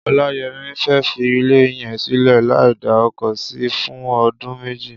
Olayemi fẹ́ fi ilẹ yẹn silẹ làí dà ókó si fùn odùn méjí